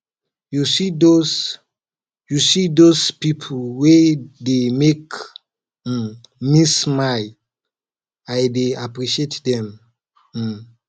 you see dose you see dose pipo wey dey make um me smile i dey appreciate dem um